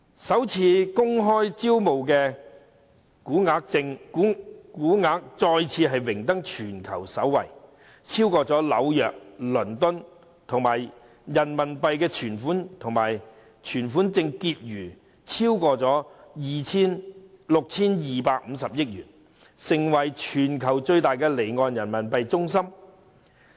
首次公開招股金額再次榮登全球首位，超過紐約和倫敦，而人民幣存款證結餘亦超過 6,250 億元，成為全球最大的離岸人民幣中心。